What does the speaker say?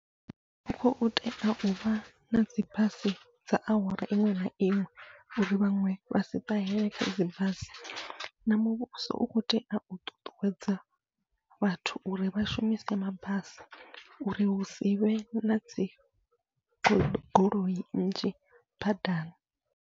Hu khou tea uvha nadzi basi dza awara iṅwe na iṅwe, uri vhaṅwe vha si ṱahele khadzi basi na muvhuso u kho tea u ṱuṱuwedza vhathu uri vha shumise mabasi, uri hu sivhe nadzi goloi nnzhi badani.